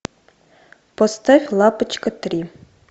поставь лапочка три